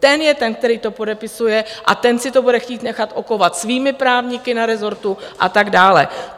Ten je ten, který to podepisuje, a ten si to bude chtít nechat okovat svými právníky na rezortu a tak dále